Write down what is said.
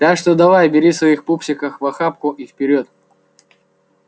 так что давай бери своих пупсиков в охапку и вперёд